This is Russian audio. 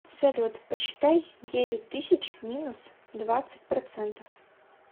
салют посчитай девять тысяч минус двадцать процентов